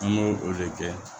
An b'o o de kɛ